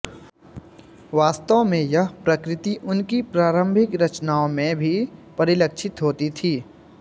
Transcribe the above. वास्तव में यह प्रकृति उनकी प्रारम्भिक रचनाओं में भी परिलक्षित होती थी